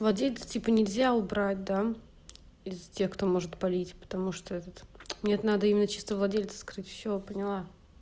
владельца типа нельзя убрать да из тех кто может палить потому что этот нет надо именно чисто владельца скрыть всё поняла